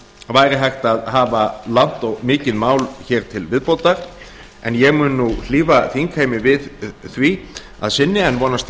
væri hægt að hafa langt og mikið mál hér til viðbótar en ég mun nú hlífa þingheimi við því að sinni en vonast